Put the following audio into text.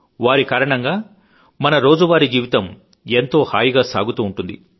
వారి కారణంగానే మన రోజూవారీ జీవితం ఎంతో హాయిగా సాగుతూ ఉంటుంది